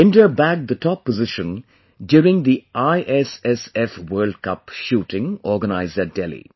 India bagged the top position during the ISSF World Cup shooting organised at Delhi